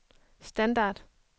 standard